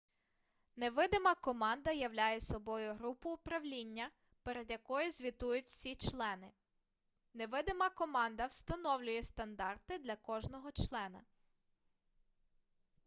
невидима команда являє собою групу управління перед якою звітують всі члени невидима команда встановлює стандарти для кожного члена